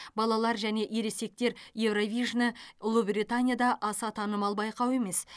балалар және ересектер еуровижні ұлыбританияда аса танымал байқау емес